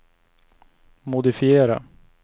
modifiera